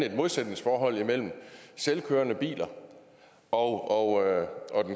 et modsætningsforhold imellem selvkørende biler og